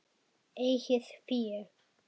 Eigið fé